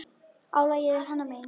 Álagið er hennar megin.